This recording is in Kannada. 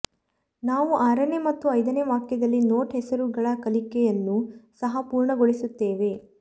ನಾವು ಆರನೇ ಮತ್ತು ಐದನೇ ವಾಕ್ಯದಲ್ಲಿ ನೋಟ್ ಹೆಸರುಗಳ ಕಲಿಕೆಯನ್ನೂ ಸಹ ಪೂರ್ಣಗೊಳಿಸುತ್ತೇವೆ